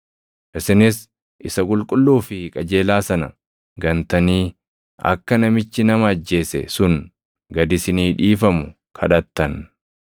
Isinis isa qulqulluu fi qajeelaa sana gantanii akka namichi nama ajjeese sun gad isinii dhiifamu kadhattan.